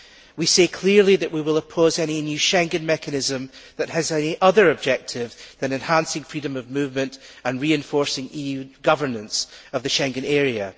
We say clearly that we will oppose any new Schengen mechanism that has any other objective than enhancing freedom of movement and reinforcing EU governance of the Schengen area.